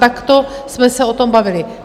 Takto jsme se o tom bavili.